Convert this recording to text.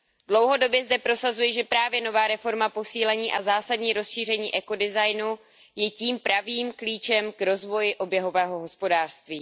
Dlouhodobě zde prosazuji, že právě nová reforma, posílení a zásadní rozšíření ekodesignu je tím pravým klíčem k rozvoji oběhového hospodářství.